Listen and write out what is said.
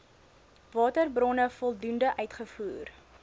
waterbronne voldoende uitgevoer